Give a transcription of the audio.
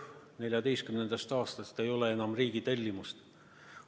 2014. aastast ei ole enam riigi tellimust.